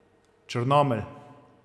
Črnomelj.